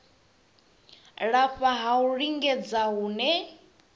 lafha ha u lingedza hune